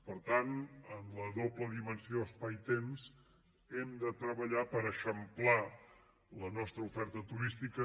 per tant en la doble dimensió espai temps hem de treballar per eixamplar la nostra oferta turística